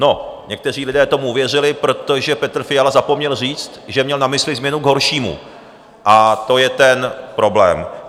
No, někteří lidé tomu uvěřili, protože Petr Fiala zapomněl říct, že měl na mysli změnu k horšímu, a to je ten problém.